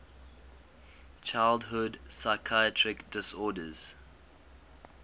childhood psychiatric disorders